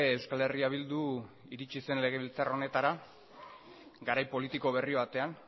euskal herria bildu iritsi zen legebiltzar honetara garai politiko berri batean